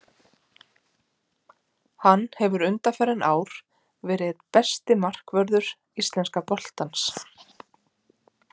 Hann hefur undanfarin ár verið einn besti markvörður íslenska boltans.